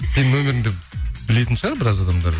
сенің нөміріңді білетін шығар біраз адамдар